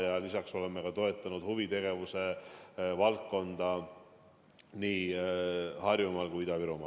Ja me oleme toetanud huvitegevuse valdkonda nii Harjumaal kui Ida-Virumaal.